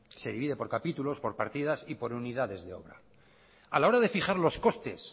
se divide por capítulos por partidas y por unidades de obra a la hora de fijar los costes